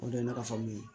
O de ye ne ka faamu ye